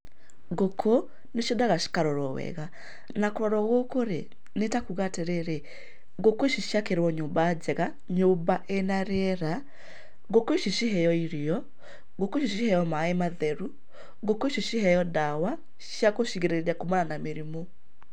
Ngũkũ nĩ ciendaga ikarorwo wega, na kũrorwo gũkũ rĩ, nĩ ta kuuga atĩrĩrĩ ngũkũ ici ciakĩrwo nyũmba njega, nyũmba ĩna rĩera, ngũkũ ici ciheo irio, ngũkũ ici ciheo maĩ matheru, ngũkũ ici ciheo ndawa cia gũcigirĩrĩria kuumana na mĩrimũ.